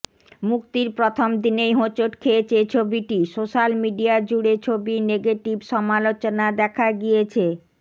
মুক্তির প্রথম দিনেই হোঁচট খেয়েছে ছবিটি সোশ্যাল মিডিয়া জুড়ে ছবির নেগেটিভ সমালোচনা দেখা গিয়েছে